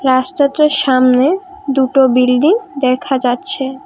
রাস্তাটার সামনে দুটো বিল্ডিং দেখা যাচ্ছে ।